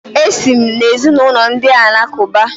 Esi m n’ezinụlọ ndị Alakụba.